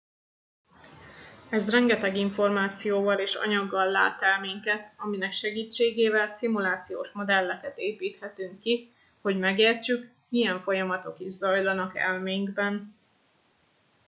ez rengeteg információval és anyaggal lát el minket aminek segítségével szimulációs modelleket építhetünk ki hogy megértsük milyen folyamatok is zajlanak elménkben